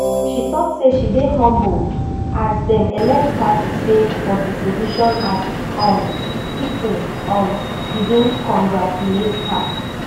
she tok say she dey humbled as dem elected her to serve for di position as um pipo um begin congratulate her